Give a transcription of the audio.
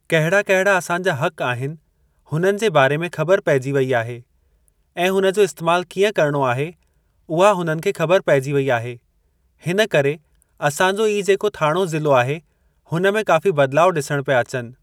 कहिड़ा कहिड़ा असांजा हक़ आहिनि हुननि जे बारे में खब़र पेइजी वेई आहे ऐं हुन जो इस्तेमालु कीअं करणो आहे उहा हुननि खे ख़बरु पेइजी वई आहे हिन करे असांजो ई जेको थाणो ज़िलो आहे हुन में काफ़ी बदिलाउ ॾिसण पिया अचनि।